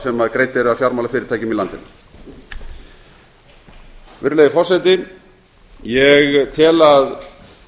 sem greidd eru af fjármálafyrirtækjum í landinu virðulegi forseti ég tel að